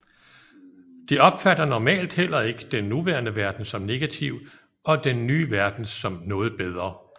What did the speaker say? De opfatter normalt heller ikke den nuværende verden som negativ og den nye verden som noget bedre